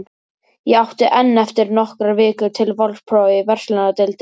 Ég átti enn eftir nokkrar vikur til vorprófa í verslunardeildinni.